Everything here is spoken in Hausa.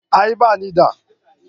A'a ba ni da.